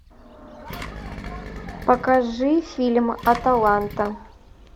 покажи фильм аталанта